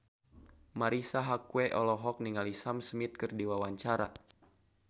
Marisa Haque olohok ningali Sam Smith keur diwawancara